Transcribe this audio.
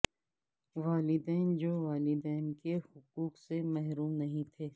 والدین جو والدین کے حقوق سے محروم نہیں تھے